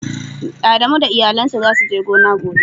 Adamu da iyalin sa za su je gona gobe.